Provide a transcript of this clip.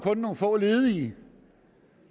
nogle få ledige